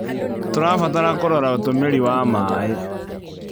Tũrabatara kũrora ũtũmĩri wa maĩ.